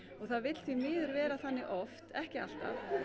það vill því miður vera þannig oft ekki alltaf